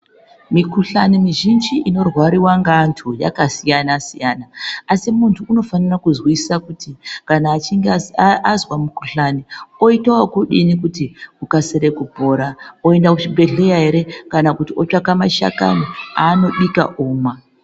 Mikhuhlani mizhinji inorwariwa ngevantu yakasiyana siyana asi muntu unofanira kuzwisisa kuti kana achinge azwa mukhuhlani oita okudini kuti ukasire kupora oenda kuchibhedhlera ere kana kuti otsvaka mashakani aanobika omwa.